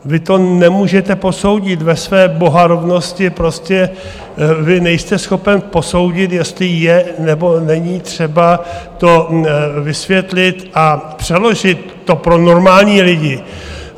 Vy to nemůžete posoudit ve své bohorovnosti, prostě vy nejste schopen posoudit, jestli je, nebo není třeba to vysvětlit a přeložit to pro normální lidi.